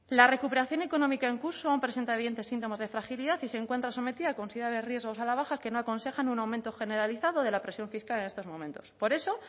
la recuperación económica en curso aún presenta evidentes síntomas de fragilidad y se encuentra sometida a considerables riesgos a la baja que no aconsejan un aumento generalizado de la presión fiscal en estos momentos por eso